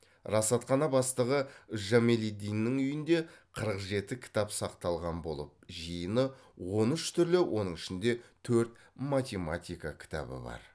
расатхана бастығы жамалиддиннің үйінде қырық жеті кітап сақталған болып жиыны он үш түрлі оның ішінде төрт математика кітабы бар